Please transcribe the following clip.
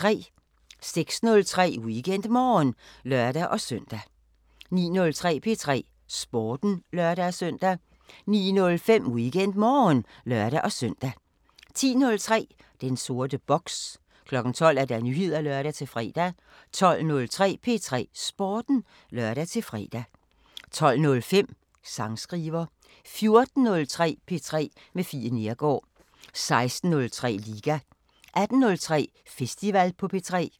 06:03: WeekendMorgen (lør-søn) 09:03: P3 Sporten (lør-søn) 09:05: WeekendMorgen (lør-søn) 10:03: Den sorte boks 12:00: Nyheder (lør-fre) 12:03: P3 Sporten (lør-fre) 12:05: Sangskriver 14:03: P3 med Fie Neergaard 16:03: Liga 18:03: Festival på P3